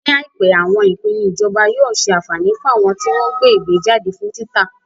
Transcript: Ní àìpé, àwọn ìpinnu ìjọba yóò ṣe àǹfání fún àwọn tí wọ́n ń gbé ìwé jáde fún títa.